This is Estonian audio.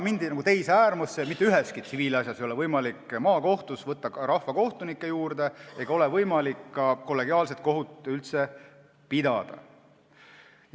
Mindi teise äärmusse ja mitte üheski tsiviilasjas ei ole võimalik maakohtus võtta rahvakohtunikke juurde ega ole võimalik üldse kollegiaalset kohut pidada.